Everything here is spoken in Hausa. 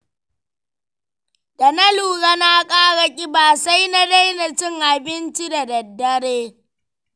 Da na lura na ƙara ƙiba, sai na daina cin abinci da daddare.